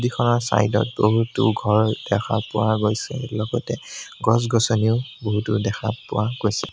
এইখনৰ চাইড ত বহুতো ঘৰ দেখা পোৱা গৈছে লগতে গছ-গছনিও বহুতো দেখা পোৱা গৈছে।